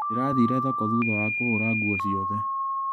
Ndĩrathire thoko thutha wa kũhũra nguo ciothe.